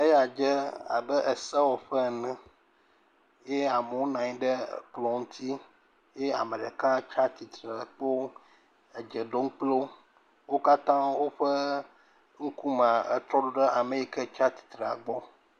Eya dze abe esewɔƒe ene eye amewo nɔ anyi ɖe ekplɔ̃ ŋuti. Ye ame ɖeka le atsitre kpoo le edze ɖom kpli wo. Wo katã ƒe ŋkumea, etrɔ ɖe ame yi ke tsa tsitrea gbɔ.